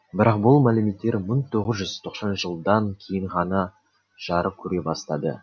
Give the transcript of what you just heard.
бірақ бұл мәліметтер мың тоғыз жүз тоқсан жылдан кейін ғана жарық көре бастады